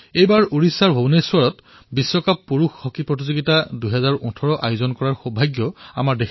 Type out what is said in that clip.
এইবাৰ ভাৰতে ভূৱনেশ্বৰত পুৰুষ হকী বিশ্বকাপ ২০১৮ৰ আয়োজন কৰাৰ সৌভাগ্য লাভ কৰিছে